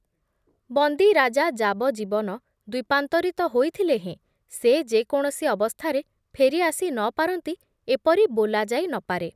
ବନ୍ଦୀ ରାଜା ଯାବଜୀବନ ଦ୍ବୀପାନ୍ତରିତ ହୋଇଥିଲେ ହେଁ ସେ ଯେ କୌଣସି ଅବସ୍ଥାରେ ଫେରି ଆସି ନ ପାରନ୍ତି ଏପରି ବୋଲା ଯାଇ ନ ପାରେ ।